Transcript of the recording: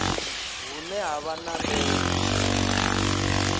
hune ha vha na ndeme